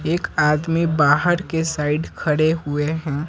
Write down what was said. एक आदमी बाहर के साइड खड़े हुए हैं।